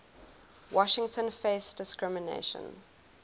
washington faced discrimination